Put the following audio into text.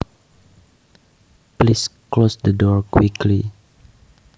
Please close the door quickly